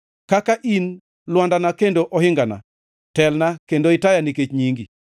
Kaka in lwandana kendo ohingana, telna kendo itaya nikech nyingi.